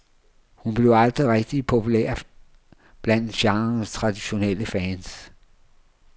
Hun blev aldrig rigtig populær blandt genrens traditionelle fans.